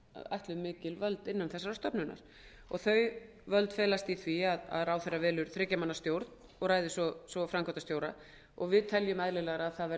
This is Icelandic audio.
ætluð mikil völd innan þessarar stofnunar og þau völd felast í því að ráðherra velur þriggja manna stjórn og ræður svo framkvæmdastjóra við teljum eðlilegra